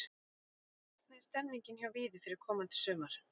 Hvernig er stemningin hjá Víði fyrir komandi sumar?